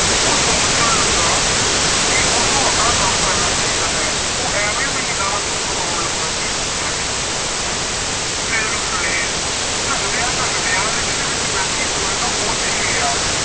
ਉਹ ਸੋਚਣ ਲੱਗਾ ਕਿ ਉਸਨੂੰ ਆਪਣਾ ਕੰਮ ਕਰਨਾ ਚਾਹੀਦਾ ਹੈ। ਉਹ ਐਵੇਂ ਮਹੀਨਾ ਹੱਥੋਂ ਗਵਾਉਣ ਲੱਗਾ ਸੀ। ਫੇਰ ਉਸਨੇ ਝਕਦਿਆਂ ਝਕਦਿਆਂ ਰਿਕਸ਼ੇ ਵਿੱਚ ਬੈਠੀ ਕੁੜੀ ਨੂੰ ਪੁੱਛ ਹੀ ਲਿਆਂ।